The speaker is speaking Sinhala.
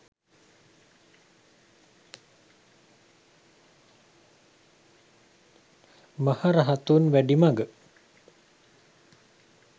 maharahathunwedimaga